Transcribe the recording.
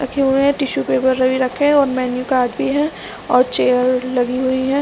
रखे हुए है और टिश्यू पेपर भी रखे है और मेन्यू कार्ड भी है और चेयर लगी हुई है।